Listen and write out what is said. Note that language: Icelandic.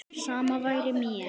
Sama væri mér.